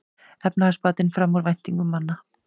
Efnahagsbatinn fram úr væntingum manna